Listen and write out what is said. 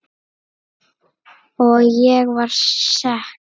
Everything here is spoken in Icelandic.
Og ég var sek.